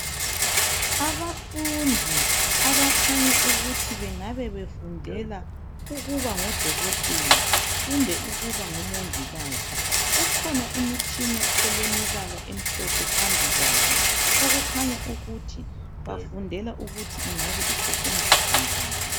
Abafundi abakhanya ukuthi bengabe befundela ukuba ngodokotela kumbe ukuba ngo mongikazi. Kukhona imitshina elemibala emhlophe phambi kwabo okukhanya ukuthi bafundela ukuthi ingabe isetshenziswa njani.